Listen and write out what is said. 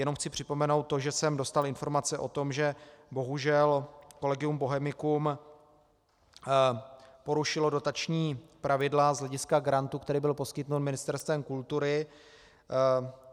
Jenom chci připomenout to, že jsem dostal informace o tom, že bohužel Collegium Bohemicum porušilo dotační pravidla z hlediska grantu, který byl poskytnut Ministerstvem kultury.